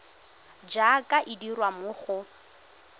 jaaka e dirwa mo go